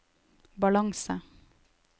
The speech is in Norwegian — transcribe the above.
balanse